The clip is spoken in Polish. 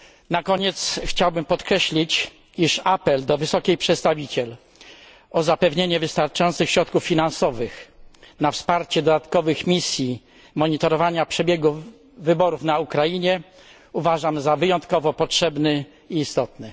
Na koniec chciałbym podkreślić, iż apel do wysokiej przedstawiciel o zapewnienie wystarczających środków finansowych na wsparcie dodatkowych misji monitorowania przebiegu wyborów na Ukrainie uważam za wyjątkowo potrzebny i istotny.